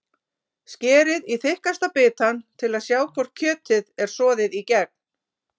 Skerið í þykkasta bitann til að sjá hvort kjötið er soðið í gegn.